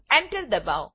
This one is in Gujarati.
Enter દબાવો